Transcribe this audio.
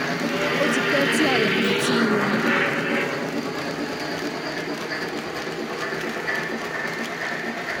ó ti pẹ́ tí àyà mi ti ń ro mí